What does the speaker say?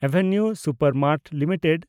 ᱮᱵᱷᱤᱱᱤᱣ ᱥᱩᱯᱮᱱᱰᱢᱮᱱᱰᱴᱥ ᱞᱤᱢᱤᱴᱮᱰ